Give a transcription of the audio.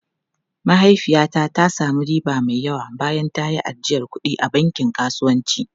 Mahaifiyata ta sami riba mai yawa bayan ta yi ajiyar kuɗi a bankin kasuwanci.